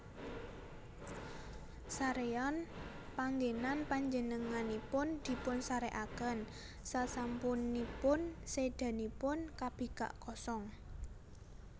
Saréyan panggènan Panjenenganipun dipunsarèkaken sasampunipun sédanipun kabikak kosong